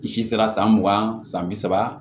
I si sera san mugan san bi saba